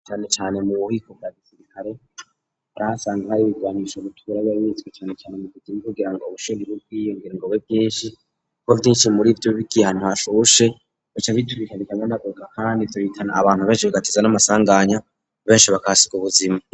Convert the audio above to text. Canecane mu buhiko bwa gisirikare baho asanga ari birwanisho butwura b'ebitswe canecane mu kuzima kugira ngo bushorib' ubwiyongera ngo be bwinshi kko vyinshi muri vyo bikihantu hashushe bacabitwika bikame nagoga, kandi turikana abantu benshi bigatiza n'amasanganya benshi bakasiga ubuzima.